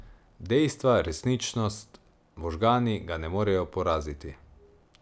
Dejstva, resničnost, možgani ga ne morejo poraziti.